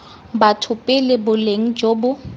batho pele boleng jo bo